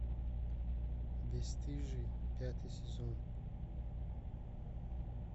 бесстыжие пятый сезон